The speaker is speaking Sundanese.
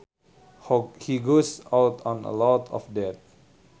He goes out on a lot of dates